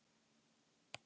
Vesturlandsbraut